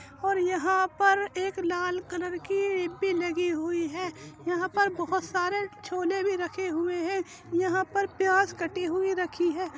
और यहां पर एक लाल कलर की लगी हुई है। यहां पर बोहोत सारे छोले भी रखे हुए हैं। यहां पर प्याज कटी हुई रखी हैं।